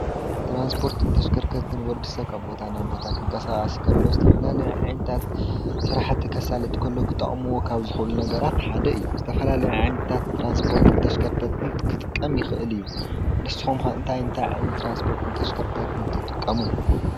ትራንስፖትን ተሽከርከርትን ወዲ ሰብ ካብ ቦታ ናብ ቦታ ክቃሳቀስ እንተሎ ዝተፈላለዩ ዓይነት ስራሕቲ ከሳልጥ እንተሎ ዝጠቅሙ ካብ ዝኽእሉ ነገራት ሓደ እዩ። ዝተፈላለዩ ዓይነት ትራንስፖርትን ተሽከርከርትን ክጥቀም ይክእል እዩ። ንስኩም ከ እንታይ እንታይ ዓይነት ተሽከርከርቲ ትራንስፖርት ትጥቀሙ?